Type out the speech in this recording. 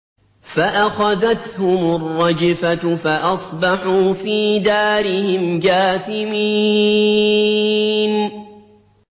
فَأَخَذَتْهُمُ الرَّجْفَةُ فَأَصْبَحُوا فِي دَارِهِمْ جَاثِمِينَ